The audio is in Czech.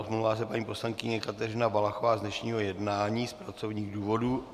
Omlouvá se paní poslankyně Kateřina Valachová z dnešního jednání z pracovních důvodů.